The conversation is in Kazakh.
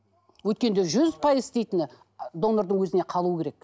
өйткенде жүз пайыз істейтіні ы донордың өзіне қалу керек